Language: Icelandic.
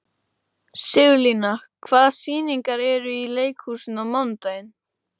Sigurlína, hvaða sýningar eru í leikhúsinu á mánudaginn?